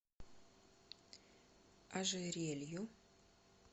ожерелью